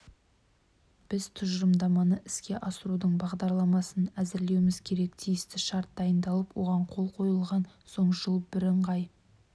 біз тұжырымдаманы іске асырудың бағдарламасын әзірлеуіміз керек тиісті шарт дайындалып оған қол қойылған соң жылы бірыңғай